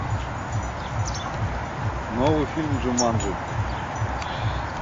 новый фильм джуманджи